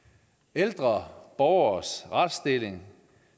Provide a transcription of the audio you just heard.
ældre borgeres retsstilling